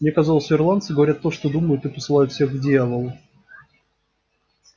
мне казалось ирландцы говорят то что думают и посылают всех к дьяволу